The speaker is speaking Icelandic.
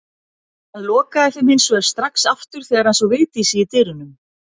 Hann lokaði þeim hins vegar strax aftur þegar hann sá Vigdísi í dyrunum.